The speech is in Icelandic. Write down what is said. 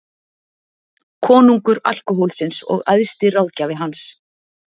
Konungur alkóhólsins og æðsti ráðgjafi hans.